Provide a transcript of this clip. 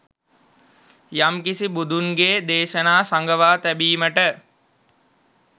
යම්කිසි බුදුන්ගේ දේශනා සගවා තැබීමට